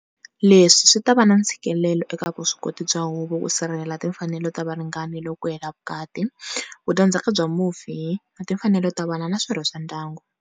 Leswi swi ta va na ntshikelelo eka vuswikoti bya huvo ku sirhelela timfanelo ta varingani loko ku hela vukati, vu dya ndzhaka bya mufi na timfanelo ta vana na swirho swa ndyangu.